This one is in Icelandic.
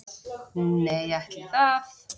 Nei, ætli það.